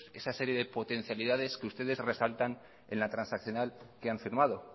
esa serie de potencialidades que ustedes resaltan en la transaccional que han firmado